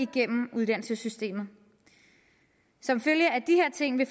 gennem uddannelsessystemet som følge af de her ting vil